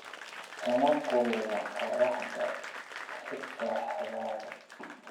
Kama kulula qorraxda xitaa xagaaga.